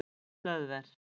Hlöðver